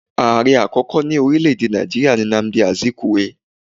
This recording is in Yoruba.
Ààre àkókò ní orílẹ́ èdè Nàìjíríà ni Nnamdi Azikiwe